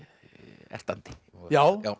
ertandi já já